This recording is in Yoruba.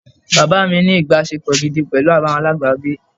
Bàbá mi ní ìbáṣepọ̀ gidi pẹ̀lú àwọn alábàágbé.